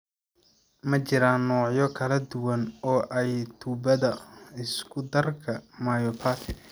Ma jiraan noocyo kala duwan oo ah tuubada isku-darka myopathy?